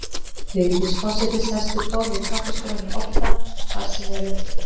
Vigdís forseti sest við borð í kaffistofunni í Odda, þar sem eru